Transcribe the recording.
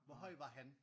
Hvor høj var han?